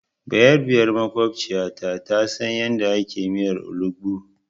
Bayarabiyar maƙwabciyatu ta san yadda ake miyar olugbu.